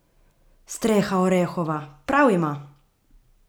Streha orehova, prav ima!